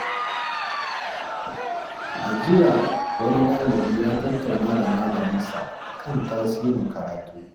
A jiya, wani ɗalibi ya tattauna da malamin sa kan tasirin karatu.